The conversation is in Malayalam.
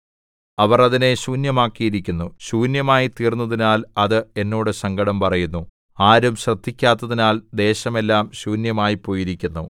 അവർ അതിനെ ശൂന്യമാക്കിയിരിക്കുന്നു ശൂന്യമായിത്തീർന്നതിനാൽ അത് എന്നോട് സങ്കടം പറയുന്നു ആരും ശ്രദ്ധിക്കാത്തതിനാൽ ദേശം എല്ലാം ശൂന്യമായിപ്പോയിരിക്കുന്നു